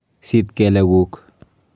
Sit kelek kuk.